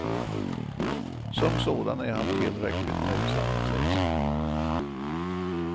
Som sådan är han tillräckligt nöjsam att läsa.